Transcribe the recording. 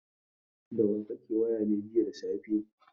Da wa kake waya ne jiya da safe?